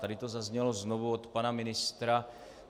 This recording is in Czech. Tady to zaznělo znovu od pana ministra.